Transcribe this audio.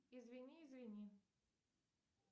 извини извини